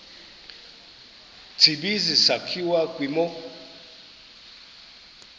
tsibizi sakhiwa kwimo